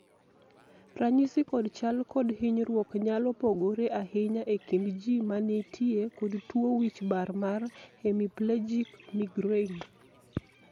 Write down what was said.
ranyisi kod chal kod hinyruok nyalo pogore ahinya e kind jii ma nitie kod tuo wich bar mar hemiplegic migraine